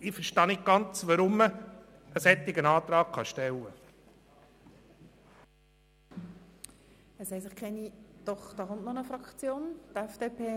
Ich verstehe nicht ganz, weshalb man einen solchen Antrag stellt.